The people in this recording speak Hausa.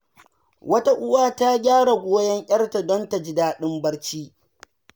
Wata uwa ta gyara goyon ‘yarta don ta ji daɗin barci.